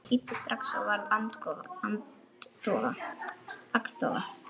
Ég hlýddi strax og varð agndofa.